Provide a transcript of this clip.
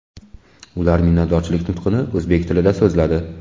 Ular minnatdorchilik nutqini o‘zbek tilida so‘zladi .